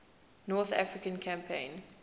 north african campaign